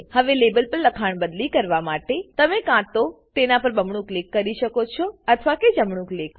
હવે લેબલ પર લખાણ બદલી કરવા માટે તમે કાં તો તેના પર બમણું ક્લિક કરી શકો છો અથવા કે જમણું ક્લિક